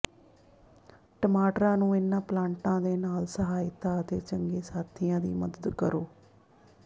ਟਮਾਟਰਾਂ ਨੂੰ ਇਨ੍ਹਾਂ ਪਲਾਂਟਾਂ ਦੇ ਨਾਲ ਸਹਾਇਤਾ ਅਤੇ ਚੰਗੇ ਸਾਥੀਆਂ ਦੀ ਮਦਦ ਕਰੋ